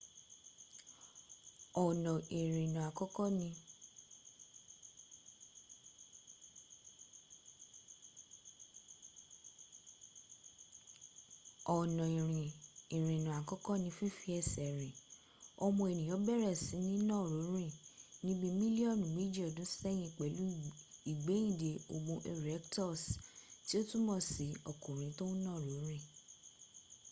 ọnà ìrìnà àkọ́kọ́ ni fífi ẹsẹ̀ rìn ọmọ ẹ̀nìyàn bẹ̀rẹ̀ sí ní nàró rín ní bí mílíọ́nù mẹjì ọdún ṣẹ́yìn pẹ̀lú ìgbẹ́ìnde homo erectus tí ó túnmọ̀ sí ọkùnrin tó ń nàró rìn